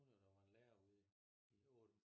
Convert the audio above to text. Hun har da været lærer ude i